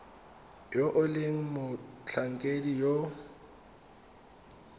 yo e leng motlhankedi yo